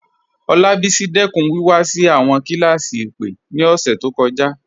Olabisi dẹkun wíwá sí awọn kílásí ìpè ni ọṣẹ to kọja.